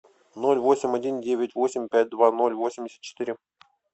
ноль восемь один девять восемь пять два ноль восемьдесят четыре